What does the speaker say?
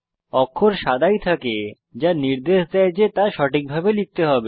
অক্ষর সাদাই থাকে যা নির্দেশ দেয় যে তা সঠিকভাবে লিখতে হবে